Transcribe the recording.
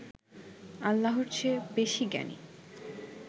আল্লাহর চেয়ে বেশি জ্ঞানী